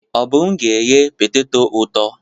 Obum ga-eghe petetọ ụtọ.